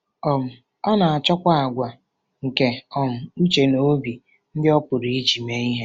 um Ọ na-achọkwa àgwà nke um uche na obi ndị ọ pụrụ iji mee ihe.